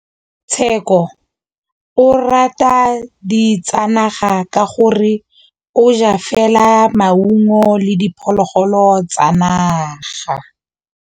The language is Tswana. Tshekô o rata ditsanaga ka gore o ja fela maungo le diphologolo tsa naga.